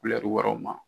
wɛrɛw ma